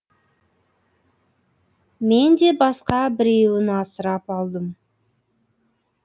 мен де басқа біреуін асырап алдым